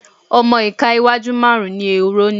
ọmọ ìka iwájú márùn-ún ni ehoro ní.